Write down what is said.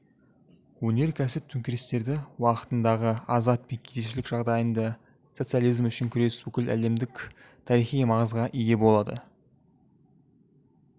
өнеркәсіп төңкерістері уақытындағы азап пен кедейшілік жағдайында социализм үшін күрес бүкіл әлемдік тарихи маңызға ие болады